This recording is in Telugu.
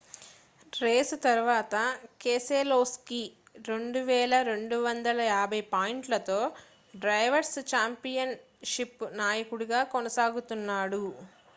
రేసు తరువాత కెసెలోస్కీ 2,250 పాయింట్లతో డ్రైవర్స్ ఛాంపియన్ షిప్ నాయకుడిగా కొనసాగుతున్నాడు